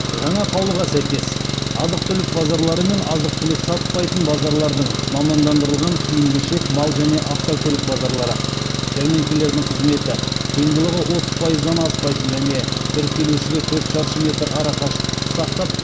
жаңа қаулыға сәйкес азық түлік базарлары мен азық түлік сатпайтын базарлардың жәрмеңкелердің қызметі сыйымдылығы отыз пайыздан аспайтын және бір келушіге төрт шаршы метр арақашықтықты сақтап